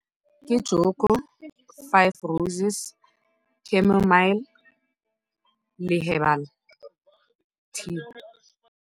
Ke joko, five roses, le herbal tea.